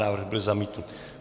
Návrh byl zamítnut.